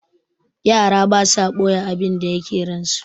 Yara basa ɓoye abinda yake ransu.